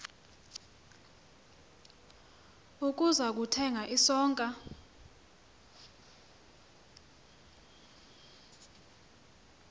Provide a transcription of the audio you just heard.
ukuza kuthenga isonka